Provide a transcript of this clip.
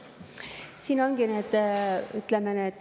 Siin ongi nüüd.